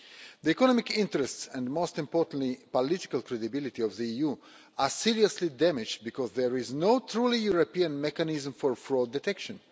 The economic interests and most importantly political credibility of the EU are seriously damaged because there is no truly European mechanism for fraud detection.